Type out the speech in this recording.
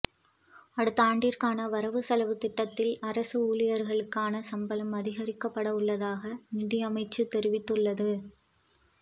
அடுத்தாண்டுக்கான வரவு செலவுத்திட்டத்தில் அரச ஊழியர்களுக்கான சம்பளம் அதிகரிக்கப்படவுள்ளதாக நிதியமைச்சு தெரிவித்துள்ளது